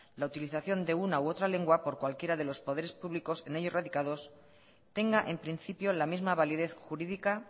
la utilización de una u otra lengua por cualquiera de los poderes públicos en ellos radicados tenga en principio la misma validez jurídica